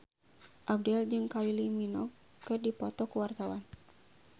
Abdel jeung Kylie Minogue keur dipoto ku wartawan